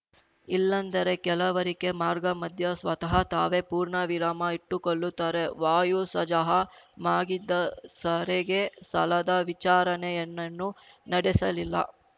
ಇಲ್ಲಂದರೆ ಕೆಲವರಿಕೆ ಮಾರ್ಗ ಮದ್ಯ ಸ್ವತಃ ತಾವೇ ಪೂರ್ಣವಿರಾಮ ಇಟ್ಟುಕೊಳ್ಳುತ್ತಾರೆ ವಾಯುಸಜಹ ಮಾಗಿದ್ದ ಸರಿಗೆ ಸಲ್ಲದ ವಿಚಾರಣೆಯನ್ನೇನು ನಡೆಸಲಿಲ್ಲ